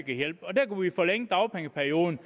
hjælpe og der kunne vi forlænge dagpengeperioden